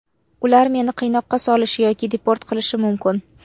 Ular meni qiynoqqa solishi yoki deport qilishi mumkin.